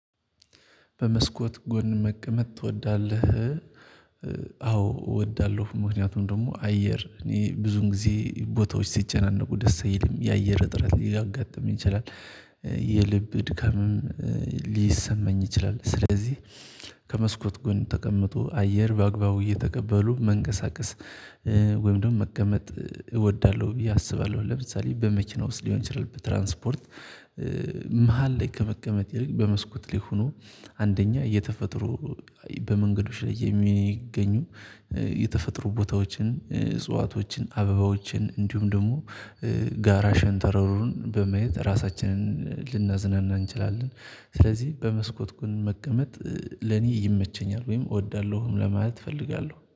በመስኮት ጎን መቀመጥ ትወዳለህ? አዎ እወዳለሁ ምክንያቱም ደግሞ አየር እኔ ብዙን ጊዜ ቦታዎች ሲጨናነቁ ደስ አይልም የአየር እጥረት ሊያጋጥም ይችላል የልብ ድካምም ሊሰማኝ ይችላል። ስለዚህ ከመስኮት ጎን ተቀምጦ አየር በአግባቡ እየተቀበሉ መንቀሳቀስ ወይም ደግሞ መቀመጥ እወዳለሁ ብዬ አስባለሁ። ለምሳሌ በመክና ውስጥ ሊሆን ይችላል በትራንስፖርት መሃል ላይ ከመቀመጥ ይልቅ በመስኮት ሊሆኑ አንደኛ የተፈጥሮ በመንገዶች ላይ የሚገኙ የተፈጥሮ ቦታዎችን እጽዋቶችን አበባዎችን እንዲሁም ደግሞ ጋራ ሸንተረሩን በማየት ራሳችንን ልናዝናና እንችላለን። ስለዚህ በመስኮት ጎን መቀመጥ ለኔ ይመቸኛል ወይም እወዳለሁ ለማለት እፈልጋለሁ